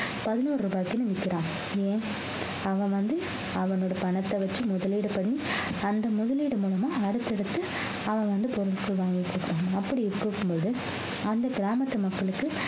பதினொரு ரூபாய்க்குன்னு விக்கிறாங்க ஏன் அவன் வந்து அவனோட பணத்தை வச்சு முதலீடு பண்ணி அந்த முதலீடு மூலமா அடுத்தடுத்தது அவன் வந்து பொருட்கள் வாங்கிட்டுருக்காங்க அப்படி இருக்கும் போது அந்த கிராமத்து மக்களுக்கு